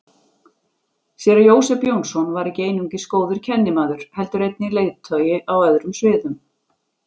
Séra Jósep Jónsson var ekki einungis góður kennimaður heldur einnig leiðtogi á öðrum sviðum.